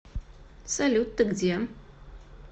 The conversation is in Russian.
салют ты где